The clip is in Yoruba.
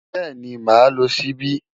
Bẹ́ẹ̀ni, màá lo ṣíbí.